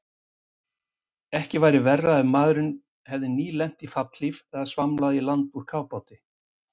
Ekki væri verra ef maðurinn hefði nýlent í fallhlíf eða svamlað í land úr kafbáti.